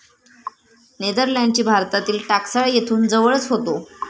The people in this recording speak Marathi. नेदरलँडची भारतातील टाकसाळ येथून जवळच होतो.